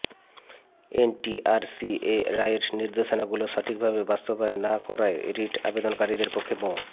NTRCA রায়ের নির্দেশনাগুলো সঠিকভাবে বাস্তবায়ন না করায় রিট আবেদনকারীদের পক্ষে মো